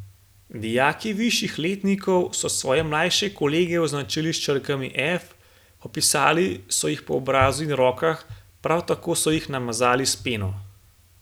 Dijaki višjih letnikov so svoje mlajše kolege označili s črkami F, popisali so jih po obrazu in rokah, prav tako so jih namazali s peno.